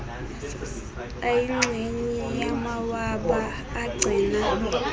ayingxenye yamawaba agcina